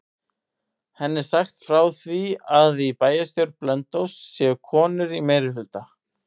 Henni er sagt frá því að í bæjarstjórn Blönduóss séu konur í meirihluta.